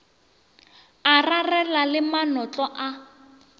a rarela le manotlo a